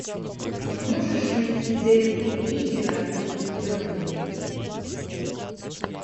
можешь найти дерби ливера и бернли